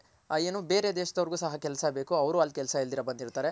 ಏನು ಬೇರೆ ದೇಶದವರಿಗೂ ಸಹ ಕೆಲ್ಸ ಬೇಕು ಅವ್ರು ಅಲ್ ಕೆಲ್ಸ ಇಲ್ದಿರ ಬಂದಿರ್ತಾರೆ.